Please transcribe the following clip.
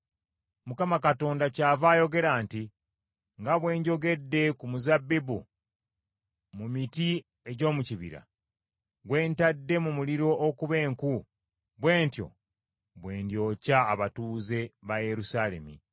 Mukama Katonda kyava ayogera nti, “Nga bwe njogedde ku muzabbibu mu miti egy’omu kibira, gwe ntadde mu muliro okuba enku, bwe ntyo bwe ndyokya abatuuze ba Yerusaalemi.